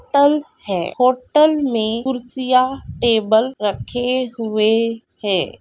Hotel है hotel में कुर्सियां टेबल रखे हुए है।